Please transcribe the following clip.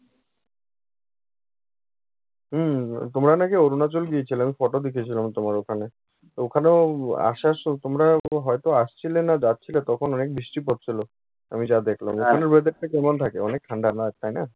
হুম, তোমরা নাকি অরুনাচল গিয়েছিলে? আমি photo দেখেছিলাম তোমার ওখানে। তো ওখানে উম আসার সম তোমরা হয়ত আসছিলে না যাচ্ছিলে তখন অনেক বৃষ্টি পড়ছিল আমি যা দেখলাম। ওখানের weather টা কেমন থাকে? অনেক ঠান্ডা না ওখানে?